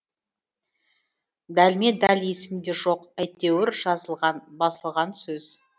дәлме дәл есімде жоқ әйтеуір жазылған басылған сөз